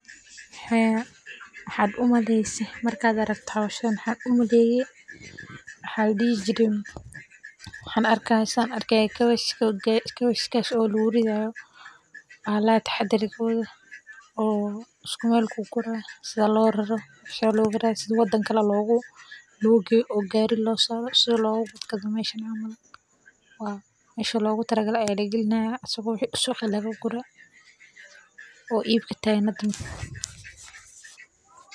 Waxaa u maleyse marka aa aragte hoshan waxan arki haya kabej oo larari hayo bahalaha taxadarkodha sitha wadan kale logeyo sithas ayan arki haya si lo ibsasho bahashan sas ayan arki haya shaqadan waa shaqa muhiim ah.